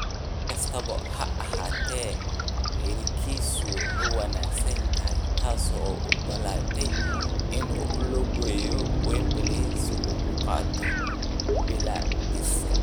Si kastaba ha ahaatee, miyirkiisu wuu wanaagsanaa taas oo u ogolaatay inuu u lugeeyo Wembley si uu u qaato biladdiisa.